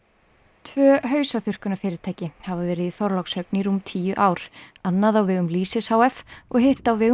tvö hafa verið í Þorlákshöfn í rúm tíu ár annað á vegum lýsis h f og hitt á vegum